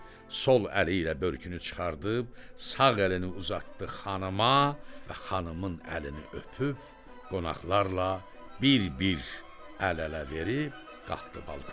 Sol əli ilə börkünü çıxarıb, sağ əlini uzatdı xanıma və xanımın əlini öpüb, qonaqlarla bir-bir əl-ələ verib qalxdı balkona